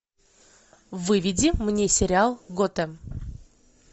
выведи мне сериал готэм